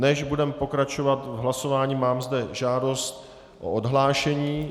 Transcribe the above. Než budeme pokračovat v hlasování, mám zde žádost o odhlášení.